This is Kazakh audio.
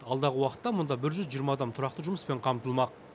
алдағы уақытта мұнда бір жүз жиырма адам тұрақты жұмыспен қамтылмақ